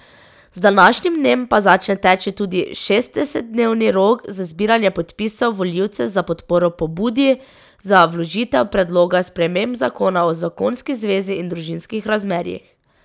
Z današnjim dnem pa začne teči tudi šestdesetdnevni rok za zbiranje podpisov volivcev za podporo pobudi za vložitev predloga sprememb zakona o zakonski zvezi in družinskih razmerjih.